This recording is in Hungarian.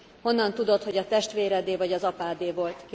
Honnan tudod, hogy a testvéredé vagy az apádé volt?